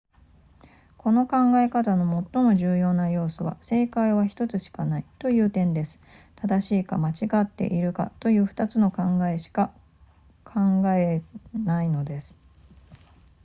この考え方の最も重要な要素は正解は1つしかないという点です正しいか間違っているかという2つの答えしか考えないのです